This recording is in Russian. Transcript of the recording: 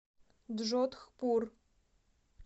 джодхпур